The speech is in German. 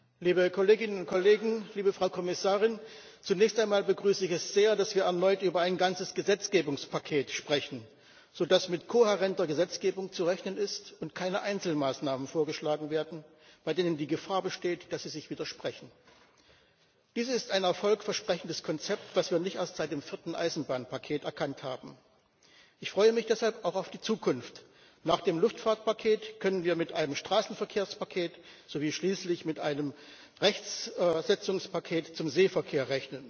Herr Präsident, Frau Kommissarin, liebe Kolleginen und Kollegen! Zunächst einmal begrüße ich es sehr, dass wir erneut über ein ganzes Gesetzgebungspaket sprechen, sodass mit kohärenter Gesetzgebung zu rechnen ist und keine Einzelmaßnahmen vorgeschlagen werden, bei denen die Gefahr besteht, dass sie sich widersprechen. Dies ist ein erfolgversprechendes Konzept, was wir nicht erst seit dem vierten Eisenbahnpaket erkannt haben. Ich freue mich deshalb auch auf die Zukunft Nach dem Luftfahrtpaket können wir mit einem Straßenverkehrspaket sowie schließlich mit einem Rechtsetzungspaket zum Seeverkehr rechnen.